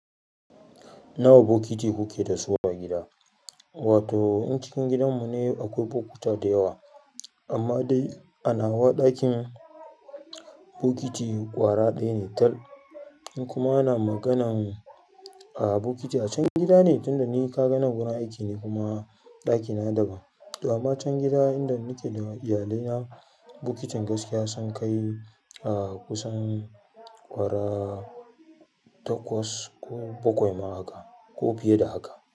Nawa bokiti kuke dasu a gida? Wato in cikin gidanmu ne akwai bokuta da yawa, amma dai a nawa ɗakin bokiti ƙwara ɗaya ne tal. In kuma ana magana a bokiti a can gida ne, tunda ni kaga nan wurin aiki ne kuma ɗakina daban. To amma can gida inda nake da iyalina, bokitin gaskiya sun kai a kusan ƙwara takwas ko bakwai ma haka ko fiye da haka.